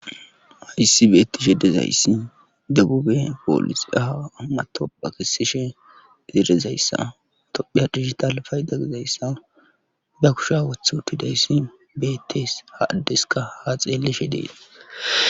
hayssi beettishe dezayssi debube poolisaa matoqa kessishe izi dizayssa tophiya digital payda gizayssa ba kusha wothi utidayssi beettes ha addeska ha xeeleshe dees